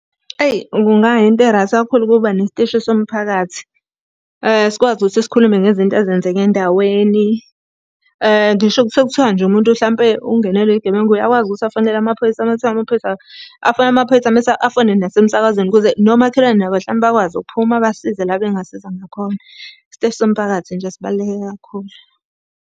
Eyi kunga yinto e-right kakhulu ukuba nesiteshi somphakathi. Sikwazi ukuthi sikhulume ngezinto ezenzeka endaweni. Ngisho sekuthiwa nje umuntu hlampe ungenelwe yigebengu uyakwazi ukuthi afonele amaphoyisa uma kuthiwa amaphoyisa. Afonele amaphoyisa, mese afone nasemsakazweni ukuze nomakhelwane nabo hlampe bakwazi ukuphuma basize la bengasiza ngakhona. Isiteshi somphakathi nje sibaluleke kakhulu.